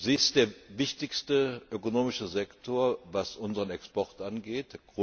Sie ist der wichtigste ökonomische Sektor, was unseren Export angeht.